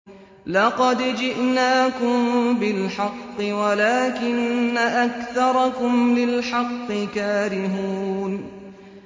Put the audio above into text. لَقَدْ جِئْنَاكُم بِالْحَقِّ وَلَٰكِنَّ أَكْثَرَكُمْ لِلْحَقِّ كَارِهُونَ